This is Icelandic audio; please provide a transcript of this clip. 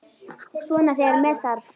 Svona þegar með þarf.